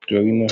ìtọríná.